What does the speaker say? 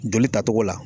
Joli ta cogo la